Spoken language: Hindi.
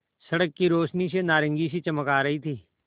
सड़क की रोशनी से नारंगी सी चमक आ रही थी